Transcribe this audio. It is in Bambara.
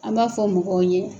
An b'a fɔ mɔgɔw ye